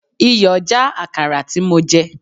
Iyọ̀ já Àkàrà tí mo jẹ.